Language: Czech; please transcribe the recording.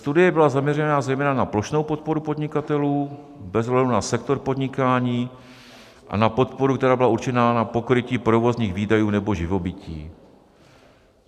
Studie byla zaměřena zejména na plošnou podporu podnikatelů bez ohledu na sektor podnikání a na podporu, která byla určená na pokrytí provozních výdajů nebo živobytí.